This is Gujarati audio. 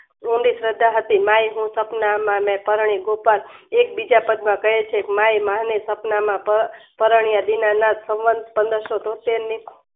ઊંડી શ્રદ્ધા હતી માય હું સપનામાં મેં પરણી કુકર એકબીજા પદ માયે સપનામાં પ પરણ્યા દીનનાથ સવંત પંદરસો તોતેર ની